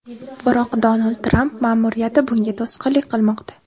Biroq Donald Tramp ma’muriyati bunga to‘sqinlik qilmoqda.